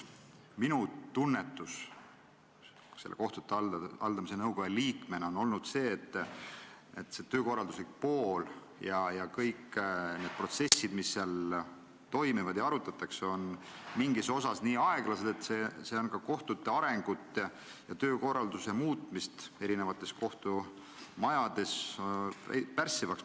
Minu tunnetus kohtute haldamise nõukoja liikmena oli see, et töökorralduslik pool ja kõik need protsessid, mis seal toimuvad ja mida arutatakse, on mingis osas nii aeglased, et see on muutunud ka kohtute arengut ja töökorralduse muutmist eri kohtumajades pärssivaks.